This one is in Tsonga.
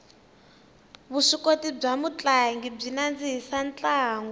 vuswikoti bya mutlangi byi nandzihisa ntlangu